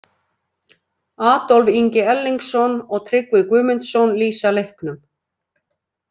Adolf Ingi Erlingsson og Tryggvi Guðmundsson lýsa leiknum.